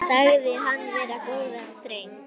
Sagðir hann vera góðan dreng.